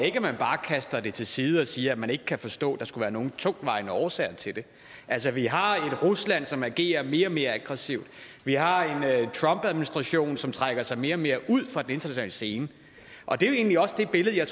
ikke at man bare kaster det til side og siger at man ikke kan forstå at der skulle være nogen tungtvejende årsager til det altså vi har at et rusland som agerer mere og mere aggressivt og vi har en trumpadministration som trækker sig mere og mere ud fra den internationale scene og det er jo egentlig også det billede jeg